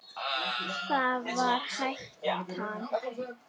Það var hættan.